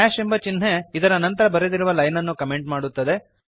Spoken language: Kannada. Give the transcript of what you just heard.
ಎಂಬ ಚಿಹ್ನೆ ಇದರ ನಂತರ ಬರೆದಿರುವ ಲೈನ್ ಅನ್ನು ಕಮೆಂಟ್ ಮಾಡುತ್ತದೆ